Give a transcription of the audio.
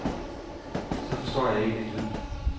Så forstår jeg ikke en lyd.